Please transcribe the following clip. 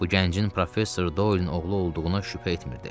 Bu gəncin professor Dolenin oğlu olduğuna şübhə etmirdi.